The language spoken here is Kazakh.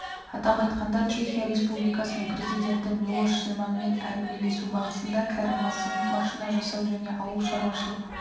атап айтқанда чехия республикасының президенті милош земанмен әңгімелесу барысында кәрім мәсімов машина жасау және ауыл шаруашылығы